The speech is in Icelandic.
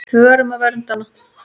Við verðum að vernda hana.